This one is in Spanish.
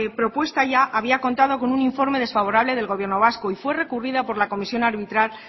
propuesta ya había contado con un informe desfavorable del gobierno vasco y fue recurrida por la comisión arbitral